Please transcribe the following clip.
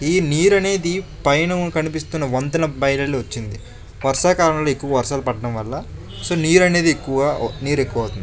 ఈ నీరు అనేది పైన కనిపిస్తున్న వంతెన బైరలు వచ్చింది వర్షాకాలంలో ఎక్కువ వర్షాలు పడడం వల్ల సో నీర్ అనేది ఎక్కువ నీరు ఎక్కువ అవుతుంది.